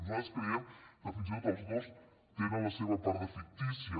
nosaltres creiem que fins i tot els dos tenen la seva part de fictícia